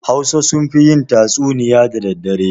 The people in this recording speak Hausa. Hausa sunfi yin tatsuniya da dare